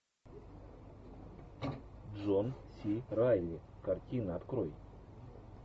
джон си райли картина открой